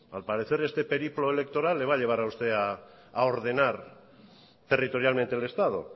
al parecer este periplo electoral le va a llevar a usted a ordenar territorialmente el estado